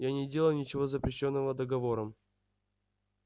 я не делаю ничего запрещённого договором